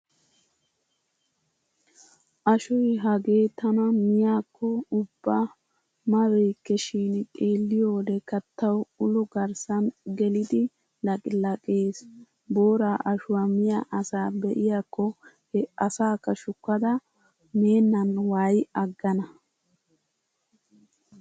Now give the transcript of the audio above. Ashoy hagee tana miyaakko ubba mabeykke shin xeelliyo wodekka tawu ulo garssan gelidi laqilaqees. Booraa ashuwaa miya asaa be'iyaakko he asakka shukkada meennan waayi aggana.